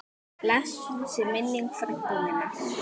Blessuð sé minning frænku minnar.